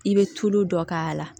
I bɛ tulu dɔ k'a la